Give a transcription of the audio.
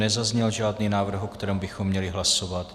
Nezazněl žádný návrh, o kterém bychom měli hlasovat.